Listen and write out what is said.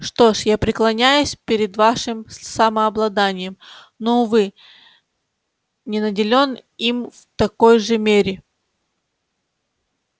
что ж я преклоняюсь перед вашим самообладанием но увы не наделён им в такой же мере